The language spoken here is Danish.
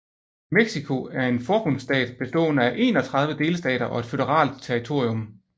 Mexico er en forbundsstat bestående af 31 delstater og et føderalt territorium